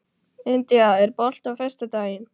India, er bolti á föstudaginn?